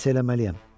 "Nə isə eləməliyəm.